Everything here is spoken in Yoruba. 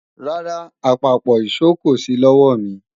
Rárá, àpapọ̀ ìṣó kò sí lọ́wọ̀mi